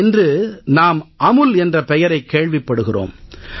இன்று நாம் அமுல் என்ற பெயரைக் கேள்விப்படுகிறோம்